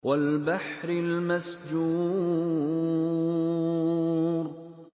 وَالْبَحْرِ الْمَسْجُورِ